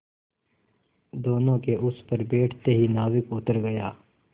दोेनों के उस पर बैठते ही नाविक उतर गया